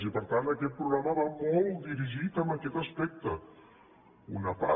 i per tant aquest programa va molt dirigit a aquest aspecte una part